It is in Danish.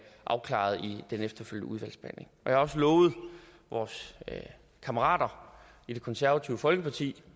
afklaret i den efterfølgende udvalgsbehandling jeg har også lovet vores kammerater i det konservative folkeparti